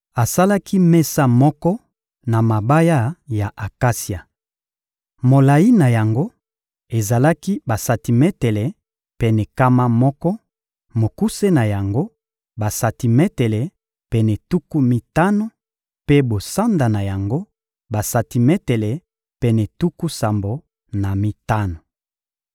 Asalaki mesa moko na mabaya ya akasia. Molayi na yango ezalaki na basantimetele pene nkama moko; mokuse na yango, basantimetele pene tuku mitano; mpe bosanda na yango, basantimetele pene tuku sambo na mitano.